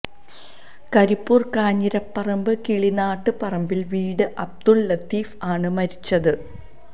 കരിപ്പൂര് കാഞ്ഞിരപ്പറമ്പ് കിളിനാട്ട് പറമ്പില് വീട് അബ്ദുല് ലത്തീഫ് ആണ് മരിച്ചത്